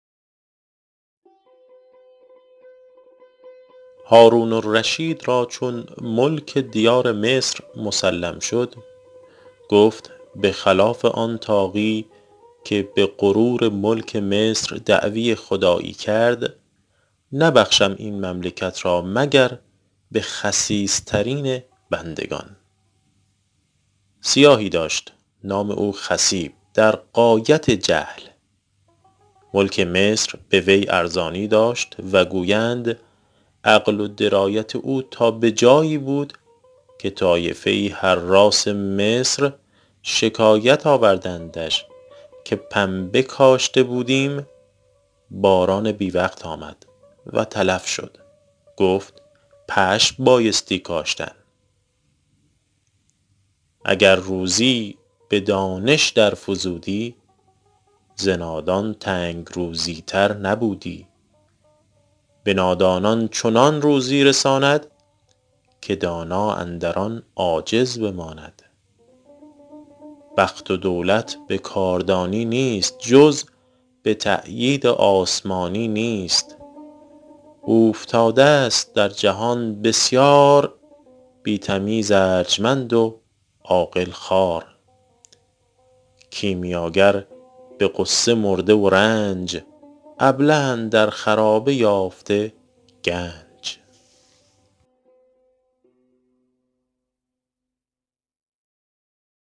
هارون الرشید را چون ملک دیار مصر مسلم شد گفت به خلاف آن طاغی که به غرور ملک مصر دعوی خدایی کرد نبخشم این مملکت را مگر به خسیس ترین بندگان سیاهی داشت نام او خصیب در غایت جهل ملک مصر به وی ارزانی داشت و گویند عقل و درایت او تا به جایی بود که طایفه ای حراث مصر شکایت آوردندش که پنبه کاشته بودیم باران بی وقت آمد و تلف شد گفت پشم بایستی کاشتن اگر دانش به روزی در فزودی ز نادان تنگ روزی تر نبودی به نادانان چنان روزی رساند که دانا اندر آن عاجز بماند بخت و دولت به کاردانی نیست جز به تأیید آسمانی نیست اوفتاده ست در جهان بسیار بی تمیز ارجمند و عاقل خوار کیمیاگر به غصه مرده و رنج ابله اندر خرابه یافته گنج